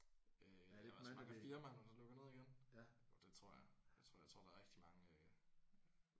Øh også mange af firmaerne der lukker ned igen? Jo det tror jeg det tror jeg. Jeg tror der er rigtig mange øh